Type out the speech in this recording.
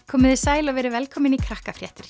komiði sæl og verið velkomin í